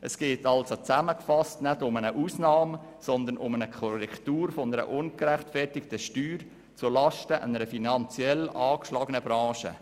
Es geht also nicht um eine Ausnahme, sondern um die Korrektur einer ungerechtfertigten Steuer zulasten einer finanziell angeschlagenen Branche.